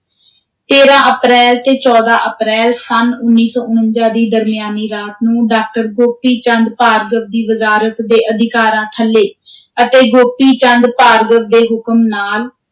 ਤੇਰਾਂ ਅਪ੍ਰੈਲ ਤੇ ਚੌਦਾਂ ਅਪ੍ਰੈਲ ਸੰਨ ਉੱਨੀ ਸੌ ਉਣੰਜਾ ਦੀ ਦਰਮਿਆਨੀ ਰਾਤ ਨੂੰ, ਡਾਕਟਰ ਗੋਪੀ ਚੰਦ ਭਾਰਗਵ ਦੀ ਵਜ਼ਾਰਤ ਦੇ ਅਧਿਕਾਰਾਂ ਥੱਲੇ ਅਤੇ ਗੋਪੀ ਚੰਦ ਭਾਰਗਵ ਦੇ ਹੁਕਮ ਨਾਲ,